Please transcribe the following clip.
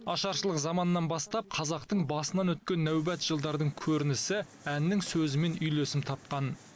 ашаршылық заманнан бастап қазақтың басынан өткен нәубет жылдардың көрінісі әннің сөзімен үйлесім тапқан